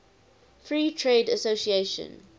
free trade association